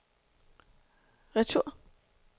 retur